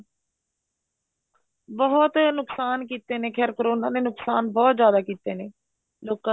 ਬਹੁਤ ਨੁਕਸਾਨ ਕੀਤੇ ਨੇ ਕੀ ਕਰੋਨਾ ਨੇ ਨੁਕਸਾਨ ਬਹੁਤ ਜਿਆਦਾ ਕੀਤੇ ਨੇ ਲੋਕਾ ਦੀ